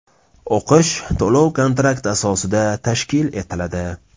O‘qish to‘lov-kontrakt asosida tashkil etiladi.